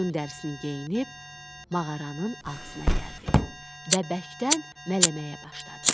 Qoyun dərisini geyinib, mağaranın ağzına gəldi və bərkdən mələməyə başladı.